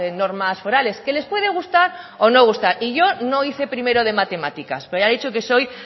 normas forales que les puede gustar o no gustar y yo no hice primero de matemáticas pero ya he dicho que soy